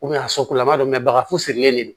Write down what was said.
a sola an b'a dɔn bagan furilen do